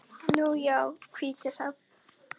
Nú já, hvítur hrafn.